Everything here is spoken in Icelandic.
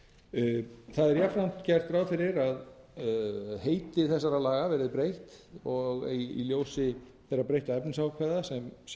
gert ráð fyrir að heiti þessara laga verði breytt í ljósi þeirra breyttu efnisákvæða sem